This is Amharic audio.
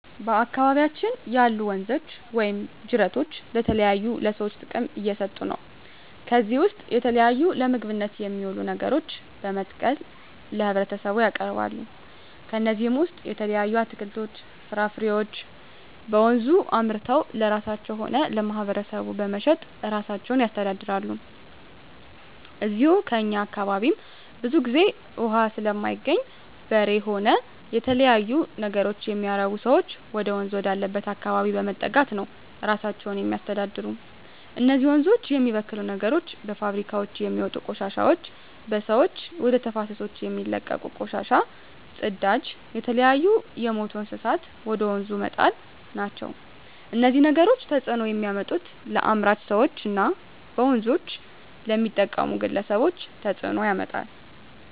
በአካባቢያችን ያሉ ወንዞች ወይም ጅረቶች ለተለያዩ ለሰዎች ጥቅም እየሠጡ ነው ከዚህ ውስጥ የተለያዩ ለምግብነት የሚውሉ ነገሮችን በመትከል ለህብረተሰቡ ያቀርባሉ ከነዚህም ውሰጥ የተለያዩ አትክልቶች ፍራፍሬዎችን በወንዙ አምርተው ለራሳቸው ሆነ ለማህበረሰቡ በመሸጥ እራሳቸውን ያስተዳድራሉ ከዚው ከእኛ አካባቢም ብዙ ግዜ እውሃ ስለማይገኝ በሬ ሆነ የተለያዩ ነገሮች የሚያረቡ ሰዎች ወደወንዝ ወዳለበት አካባቢ በመጠጋት ነው እራሳቸውን የሚያስተዳድሩ እነዚህ ወንዞች የሚበክሉ ነገሮች በፋብሪካውች የሚወጡ ቆሻሾች በሰዎች ወደ ተፋሰሶች የሚለቀቁ ቆሻሻ ጽዳጅ የተለያዩ የምቱ እንስሳትን ወደ ወንዙ መጣል ናቸው እነዚህ ነገሮች ተጽዕኖ የሚያመጡት ለአምራች ሰዎች እና በወንዞች ለሚጠቀሙ ግለሰቦች ተጽእኖ ያመጣል